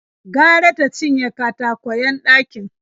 Gara ta cinye katakwayen ɗakin.